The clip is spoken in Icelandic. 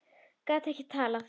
Gat ekki talað.